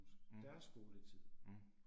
Mh. Mh